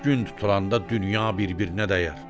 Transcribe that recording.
Gün tutulanda dünya bir-birinə dəyər.